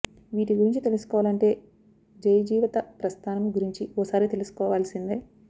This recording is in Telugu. వీటి గురించి తెలుసుకోవాలంటే జయ జీవిత ప్రస్థానం గురించి ఓసారి తెలుసుకోవాల్సిందే